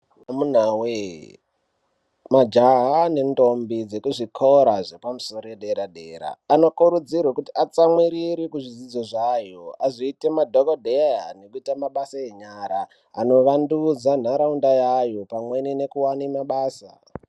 Amunawe majaha nentombi dzekuzvikora zvepamusoro yedera dera anokurudzirwe kuti atsamwirire kuzvidzidzo zvayo azoite madhokodheya nekuite mabasa enyara anovandudza ntaraunda yavo pamwe nekuwane mabasa.